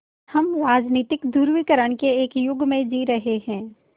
हम राजनीतिक ध्रुवीकरण के एक युग में जी रहे हैं